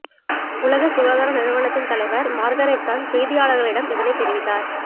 உலக சுகாதார நிறுவனத்தின் தலைவர் மார்கரெட் சான் செய்தியாளர்களிடம் இதனை தெரிவித்தார்